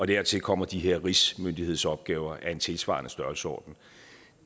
dertil kommer de her rigsmyndighedsopgaver af en tilsvarende størrelsesorden